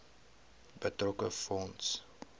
betrokke fonds